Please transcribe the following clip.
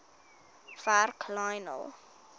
werk lionel